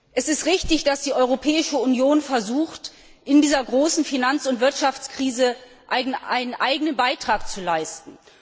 Es ist richtig, dass die Europäische Union versucht, in dieser großen Finanz und Wirtschaftskrise einen eigenen Beitrag zu leisten.